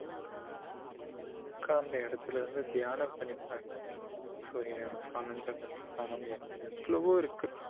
உக்காந்த இடத்துல இருந்து தியானம் பண்ணிப் பாருங்க சூரிய நமஸ்காரம் சந்திரன் நமஸ்காரம் எவ்ளோவோ இருக்கு